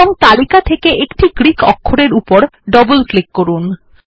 এবং তালিকা থেকে একটি গ্রীক অক্ষরের উপর ডবল ক্লিক করুন